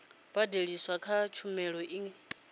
badeliswaho kha tshumelo i nga